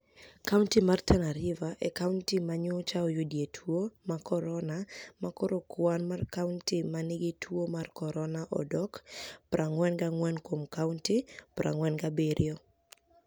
Kauniti mar Tania River e kauniti ma niyocha oyudie tuo mar koronia ma koro kwani mar kauniti ma niigi tuo mar koronia odok 44 kuom kauniti 47.